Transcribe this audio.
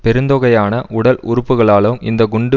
பெருந்தொகையான உடல் உறுப்புக்களாலும் இந்த குண்டு